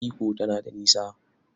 Ikko tana da nisa?